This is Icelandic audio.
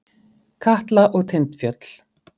Katla og Tindfjöll.